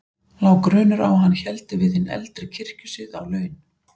Lá grunur á að hann héldi við hinn eldri kirkjusið á laun.